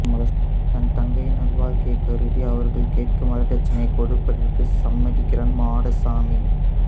தன் தங்கையின் நல்வாழ்க்கையைக் கருதி அவர்கள் கேட்கும் வரதட்சணையைக் கொடுப்பதற்கு சம்மதிக்கிறான் மாடசாமி